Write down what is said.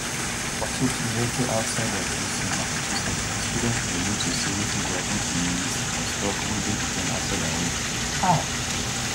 for tufts university outside of boston massachusetts students dey wait to see wetin go happun to ms ozturk wey dey detained outside her home um